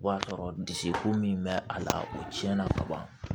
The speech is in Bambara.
O b'a sɔrɔ dusukun min bɛ a la o tiɲɛna ka ban